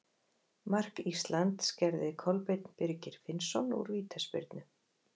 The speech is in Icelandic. Mark Íslands gerði Kolbeinn Birgir Finnsson úr vítaspyrnu.